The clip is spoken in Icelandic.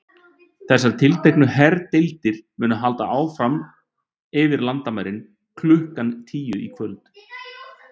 Þessar tilteknu herdeildir munu halda yfir landamærin klukkan tíu í dag.